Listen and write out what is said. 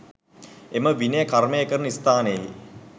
එම විනය කර්මය කරන ස්ථානයෙහි